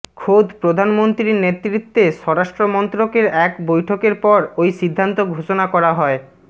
খোদ প্রধানমন্ত্রীর নেতৃত্বে স্বরাষ্ট্র মন্ত্রকের এক বৈঠকের পর ওই সিদ্ধান্ত ঘোষণা করা হয়